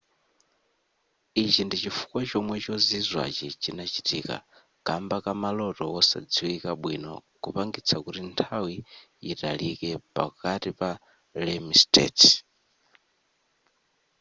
ichichi ndichifukwa chomwe chozizwachi chinachitika kamba ka maloto wosadziwika bwino kupangitsa kuti nthawi yitalike pakati pa rem states